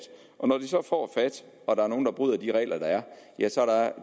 og der er nogle der bryder de regler der er